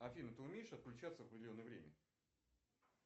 афина ты умеешь отключаться в определенное время